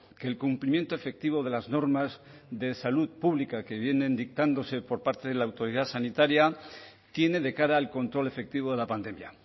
que el cumplimiento efectivo de las normas de salud pública que vienen dictándose por parte de la autoridad sanitaria tiene de cara al control efectivo de la pandemia